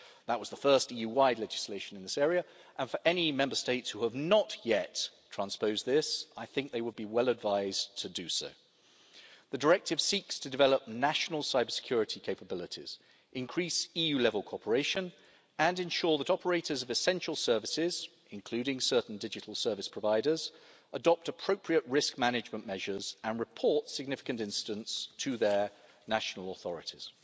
That was the first EU-wide legislation in this area, and for any Member States who have not yet transposed this, I think they would be well advised to do so. The Directive seeks to develop national cybersecurity capabilities, increase EU-level cooperation and ensure that operators of essential services, including certain digital service providers, adopt appropriate risk management measures and report significant incidents to their national authorities.